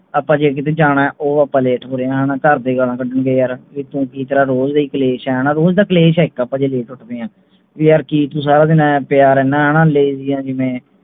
ਆਪਾਂ ਜੇ ਕਿਤੇ ਜਾਣੇ ਤਾਂ ਉਹ ਆਪਾਂ late ਹੋ ਰਹੇ ਹਾਂ ਹਣਾ ਘਰ ਦੇ ਗਾਲਾਂ ਕੱਢਣਗੇ ਯਾਰ ਵੀ ਤੂੰ ਕਿ ਤੇਰਾ ਰੋਜ ਦਾ ਹੀ ਕਲੇਸ਼ ਹੈ ਹਣਾ ਰੋਜ ਦਾ ਕਲੇਸ਼ ਹੈ ਇਕ ਜੇ ਆਪਾਂ ਦੇਖ ਸਕਦੇ ਹੈਂ ਵੀ ਯਾਰ ਕਿ ਤੂੰ ਸਾਰਾ ਦਿਨ ਆਏਂ ਪਿਆ ਰਹਿਣੇ ਹਣਾ lazy ਹੈਂ ਜਿਵੇਂ